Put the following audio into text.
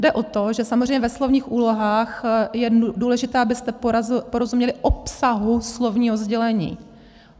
Jde o to, že samozřejmě ve slovních úlohách je důležité, abyste porozuměli obsahu slovního sdělení.